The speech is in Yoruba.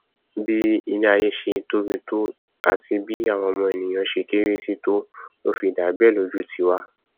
bí iléaiyé ṣe tóbi tó àti bí àwa ọmọ ènìà ṣe kéré síi to ló fi dà bẹẹ lójú tiwa